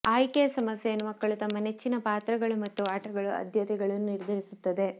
ಆಯ್ಕೆಯ ಸಮಸ್ಯೆಯನ್ನು ಮಕ್ಕಳು ತಮ್ಮ ನೆಚ್ಚಿನ ಪಾತ್ರಗಳು ಮತ್ತು ಆಟಗಳು ಆದ್ಯತೆಗಳನ್ನು ನಿರ್ಧರಿಸುತ್ತದೆ